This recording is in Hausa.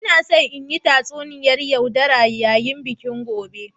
Ina so in yi tatsuniyar yaudara yayin bikin gobe.